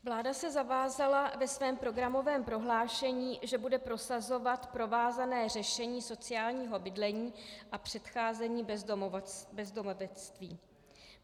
Vláda se zavázala ve svém programovém prohlášení, že bude prosazovat provázané řešení sociálního bydlení a předcházení bezdomovectví.